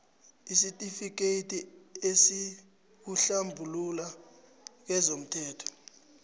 isitifikethi esikuhlambulula kezomthelo